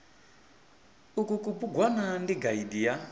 uku kubugwana ndi gaidi ya